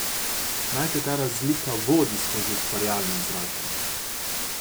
Naj te ta razlika vodi skozi ustvarjalno izražanje.